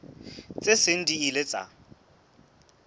tse seng di ile tsa